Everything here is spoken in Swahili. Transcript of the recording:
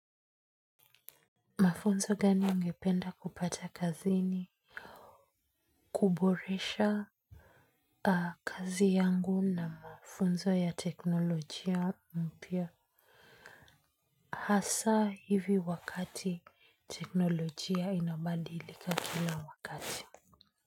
Mafunzo gani ungependa kupata kazini kuboresha kazi yangu na mafunzo ya teknolojia mpya hasa hivi wakati teknolojia inabadilika kila wakati.